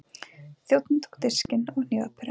Þjónninn tók diskinn og hnífapörin.